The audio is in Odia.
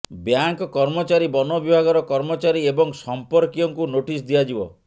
ବ୍ୟାଙ୍କ କର୍ମଚାରୀ ବନ ବିଭାଗର କର୍ମଚାରୀ ଏବଂ ସଂପର୍କୀୟଙ୍କୁ ନୋଟିସ୍ ଦିଆଯିବ